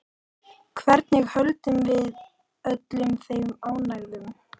Hvernig höldum við öllum þeim ánægðum?